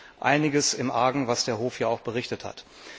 Hier liegt einiges im Argen, was der Hof ja auch berichtet hat.